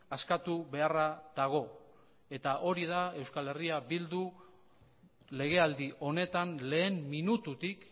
askatu beharra dago eta hori da euskal herria bildu legealdi honetan lehen minututik